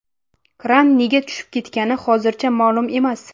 Kran nega tushib ketgani hozircha ma’lum emas.